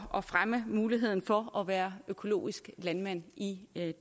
at fremme muligheden for at være økologisk landmand i